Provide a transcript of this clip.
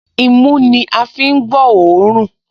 Imú ní a fi ń gbọ́ òórùn